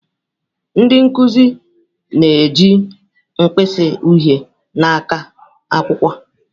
Ndị nkuzi na-eji mkpịsị uhie na-aka akwụkwọ.